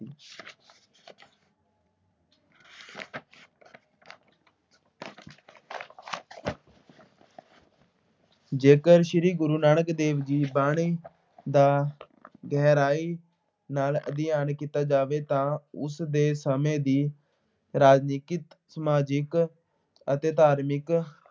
ਜੇਕਰ ਸ੍ਰੀ ਗੁਰੂ ਨਾਨਕ ਦੇਵ ਜੀ ਦੀ ਬਾਣੀ ਦਾ ਗਹਿਰਾਈ ਨਾਲ ਅਧਿਐਨ ਕੀਤਾ ਜਾਵੇ ਤਾਂ ਉਸ ਸਮੇਂ ਦੀ ਰਾਜਨੀਤਿਕ, ਸਮਾਜਿਕ ਅਤੇ ਧਾਰਮਿਕ